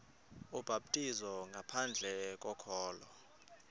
ubhaptizo ngaphandle kokholo